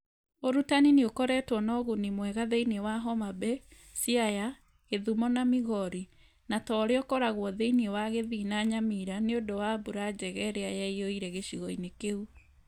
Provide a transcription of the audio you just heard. U͂rutani ni͂ ukoretwo na u͂guni mwega thi͂ini͂ wa Homabay, Siaya, Kisumu na Migori; na ta u͂ri͂a u͂koragwo thi͂ini͂ wa Kisii na Nyamura ni͂ u͂ndu͂ wa mbura njega i͂ri͂a yaiyu͂ire gi͂cigo-ini͂ ki͂u.